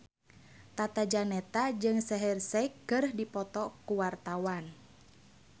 Tata Janeta jeung Shaheer Sheikh keur dipoto ku wartawan